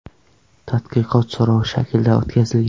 Tadqiqot so‘rov shaklida o‘tkazilgan.